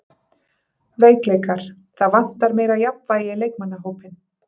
Veikleikar: Það vantar meira jafnvægi í leikmannahópinn.